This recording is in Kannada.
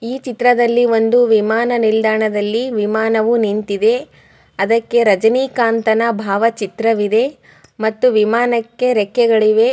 ಈ ಚಿತ್ರದಲ್ಲಿ ಒಂದು ವಿಮಾನ ನಿಲ್ದಾಣದಲ್ಲಿ ವಿಮಾನವು ನಿಂತಿದೆ ಅದಕ್ಕೆ ರಜನಿಕಾಂತನ ಭಾವಚಿತ್ರ ವಿದೆ ಮತ್ತು ವಿಮಾನಕ್ಕೆ ರೆಕ್ಕೆಗಳಿವೆ.